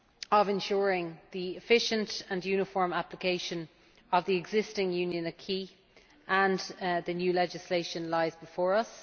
of ensuring the efficient and uniform application of the existing Union acquis and the new legislation lies before us.